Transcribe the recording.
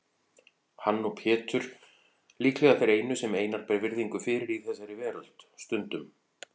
Hann og Pétur líklega þeir einu sem Einar ber virðingu fyrir í þessari veröld, stundum